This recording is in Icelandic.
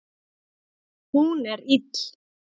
Hún er ill.